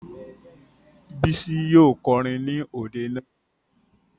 Bísí yóò kọrin ní òde náà